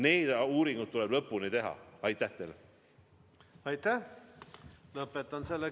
Need uuringud tuleb lõpuni teha.